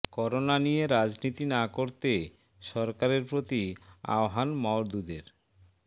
corona নিয়ে রাজনীতি না করতে সরকারের প্রতি আহ্বান মওদুদের